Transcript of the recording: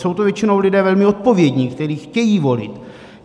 Jsou to většinou lidé velmi odpovědní, kteří chtějí volit.